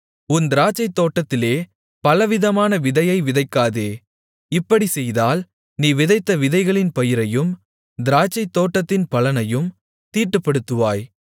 உன் திராட்சைத்தோட்டத்திலே பலவிதமான விதையை விதைக்காதே இப்படிச் செய்தால் நீ விதைத்த விதைகளின் பயிரையும் திராட்சைத்தோட்டத்தின் பலனையும் தீட்டுப்படுத்துவாய்